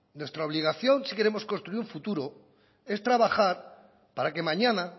nuestra obligación si queremos construir un futuro es trabajar para que mañana